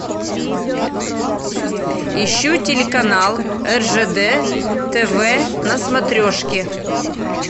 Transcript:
ищу телеканал ржд тв на смотрешке